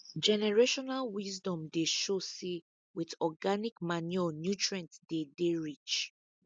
generational wisdom dey show say with organic manure nutrient dey dey rich